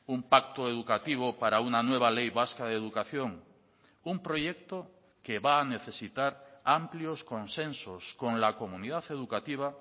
un pacto educativo para una nueva ley vasca de educación un proyecto que va a necesitar amplios consensos con la comunidad educativa